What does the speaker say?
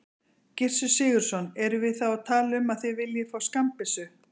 Gissur Sigurðsson: Erum við þá að tala um að þið viljið fá skammbyssur?